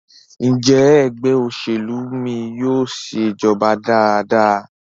Njé Ẹgbẹ́ òṣèlú mí yóò ṣe ìjọba dára dára?